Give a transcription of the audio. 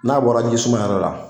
N'a bɔra jisuma yɛrɛ la.